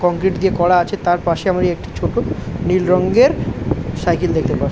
concrete দিয়ে করা আছে তার পাশে আমরা একটি ছোট নীল রঙের সাইকেল দেখতে পা--